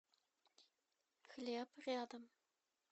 хлеб рядом